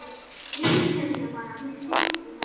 Viðurkennið þið það bara, hún stjórnar, er það ekki?